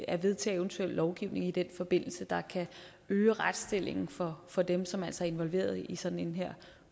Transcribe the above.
at vedtage eventuel lovgivning i den forbindelse der kan øge retsstillingen for for dem som altså er involveret i sådan en